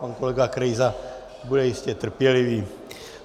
Pan kolega Krejza bude jistě trpělivý.